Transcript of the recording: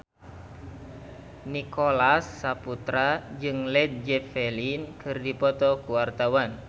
Nicholas Saputra jeung Led Zeppelin keur dipoto ku wartawan